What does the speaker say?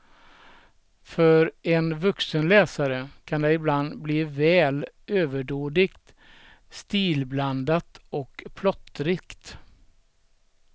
För en vuxen läsare kan det ibland bli väl överdådigt, stilblandat och plottrigt.